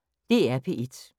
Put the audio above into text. DR P1